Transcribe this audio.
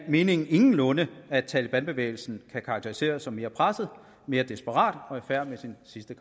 meningen ingenlunde at talebanbevægelsen kan karakteriseres som mere presset mere desperat og i færd med sine sidste